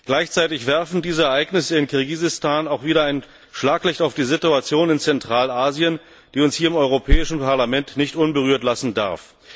Gleichzeitig werfen diese Ereignisse in Kirgisistan auch wieder ein Schlaglicht auf die Situation in Zentralasien, die uns hier im Europäischen Parlament nicht unberührt lassen darf.